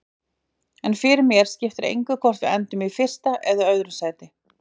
En fyrir mér skiptir engu hvort við endum í fyrsta eða öðru sæti.